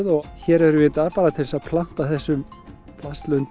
og hér erum við í dag bara til að planta þessum